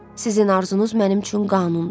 Sizin arzunuz mənim üçün qanundur.